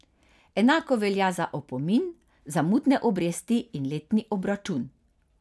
Enako velja za opomin, zamudne obresti in letni obračun.